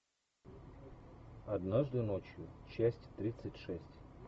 однажды ночью часть тридцать шесть